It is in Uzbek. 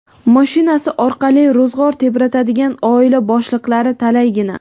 mashinasi orqali ro‘zg‘or tebratadigan oila boshliqlari talaygina.